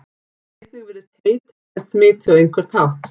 Einnig virðist hey tengjast smiti á einhvern hátt.